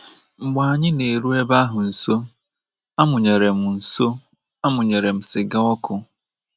Mgbe anyị na-eru ebe ahụ nso, amụnyere m nso, amụnyere m siga ọkụ.